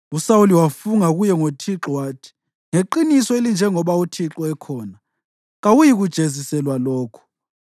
USawuli wafunga kuye ngoThixo wathi, “Ngeqiniso elinjengoba uThixo ekhona, kawuyikujeziselwa lokhu.”